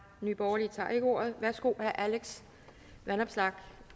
nye borgerlige tager ikke ordet herre alex vanopslagh